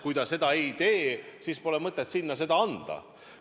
Kui ta seda ei teeks, siis poleks mõtet sinna seda tööd anda.